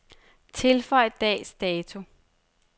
Tilføj dags dato.